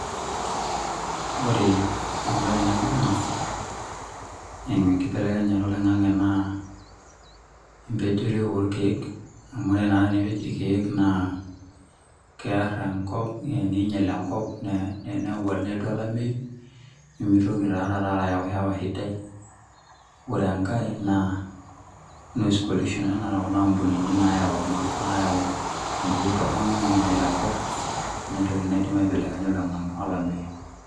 Ore ebae naibunga eimu enkibelekenyata oloingang'e naa, empejore orkeek, amu ore na tenipej ilkeek naa, keer, enkop, ningiel enkop, nelotu olameyu. nimitoki taa taata ayau hewa sidai. ore enkae naa, noise pollution naa, anaa tenakata Kuna ampunini naayau empuruo toronok, neingiel enkop. entoki naidim aibelekenya olameyu.